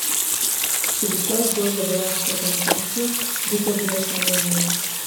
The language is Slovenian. Če bi šlo zgolj za vojaško organizacijo, bi to bilo samoumevno.